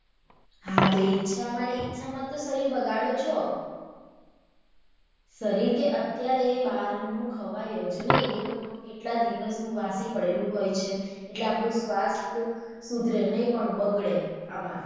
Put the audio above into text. હા તો ઇચ્છા માં ને ઇચ્છા માં તો શરીર બગાડો છો શરીર કે અત્યારે બાહર નું ખવાય જ નહિ એ લોકોનું કેટલા દિવસનું વાસી પડેલું હોય છે એટલે આપણું સ્વયસ્થ સુધરે નહિ પણ બગડે આમા.